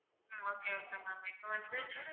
okay okay ma'am இப்போ வந்து